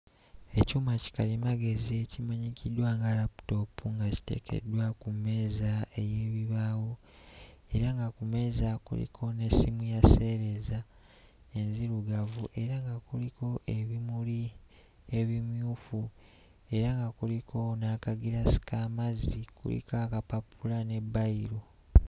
Ekyuma kikalimagezi ekimanyikiddwa nga laptop nga kiteekeddwa ku mmeeza ey'ebibaawo era nga ku mmeeza kuliko n'essimu ya sseereza enzirugavu era nga kuliko ebimuli ebimyufu era nga kuliko n'akagiraasi k'amazzi kuliko akapapula ne bbayiro.